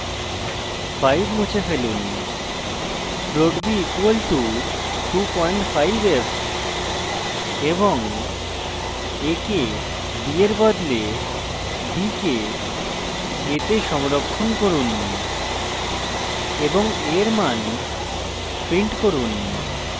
5 মুছে ফেলুন float b equal to 25f এবং a কে b এর বদলে b কে a তে সংরক্ষণ করুন এবং a এর মান print করুন